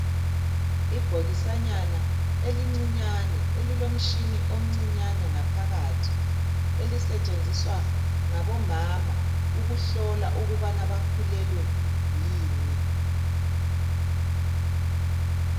Ibhokisanyana elincinyane elilomshini omncinyane ngaphakathi elisetshenziswa ngabo mama ukuhlola ukubana bakhulelwe yini.